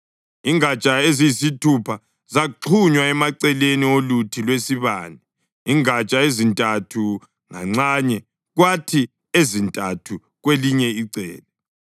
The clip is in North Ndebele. Ingatsha eziyisithupha zaxhunywa emaceleni oluthi lwesibane, ingatsha ezintathu nganxanye kwathi ezintathu kwelinye icele.